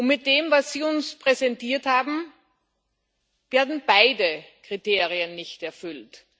Mit dem, was Sie uns präsentiert haben, werden beide Kriterien nicht erfüllt.